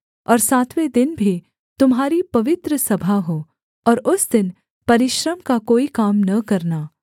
और सातवें दिन भी तुम्हारी पवित्र सभा हो और उस दिन परिश्रम का कोई काम न करना